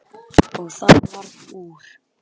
Og það varð úr.